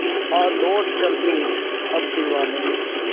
आ लौट चल तू अब दीवाने